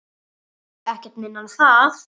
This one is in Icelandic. Ekkert minna en það!